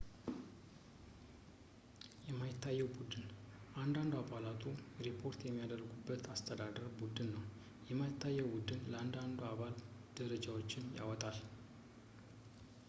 የማይታየው ቡድን እያንዳንዱ አባላቱ ሪፖርት የሚያደርጉበት የአስተዳደር ቡድን ነው የማይታየው ቡድን ለእያንዳንዱ አባል ደረጃዎችን ያወጣል